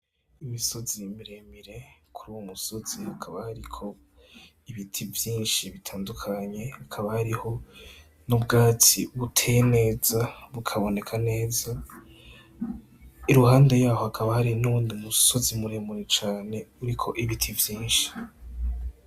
Imisozi mire mire kuri uwo musozi hakaba hariko ibiti vyinshi bitandukanye hakaba hariho n' ubwatsi buteye neza bukaboneka neza iruhande yaho hakaba hari n'uwundi musozi mure mure cane uriko ibiti vyinshi.